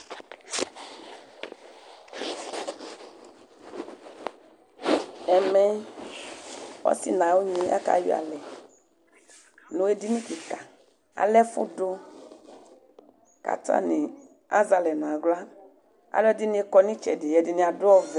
Ɛmɛ ɔsi nʋ ɔnyɩ akayɔ alɛ, nʋ edini kika alɛ ɛfʋdʋ kʋ atani azɛ alɛ nʋ aɣla, alʋɛdini kɔnʋ itsɛdi alʋɛdini adʋ ɔvɛ.